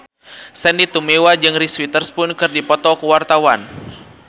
Sandy Tumiwa jeung Reese Witherspoon keur dipoto ku wartawan